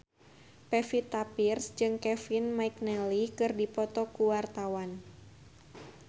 Pevita Pearce jeung Kevin McNally keur dipoto ku wartawan